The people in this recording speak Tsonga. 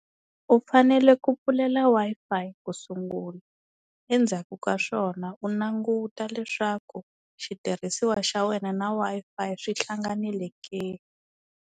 U fanele ku pfulela Wi-Fi ku sungula endzhaku ka swona u languta leswaku xitirhisiwa xa wena na Wi-Fi swi hlanganile ke.